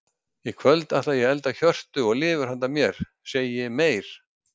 Í kvöld ætla ég að elda hjörtu og lifur handa mér, segi ég meyr.